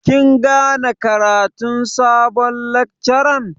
Kin gane ƙaratun sabon lakcaran?